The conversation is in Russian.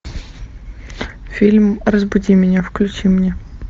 фильм разбуди меня включи мне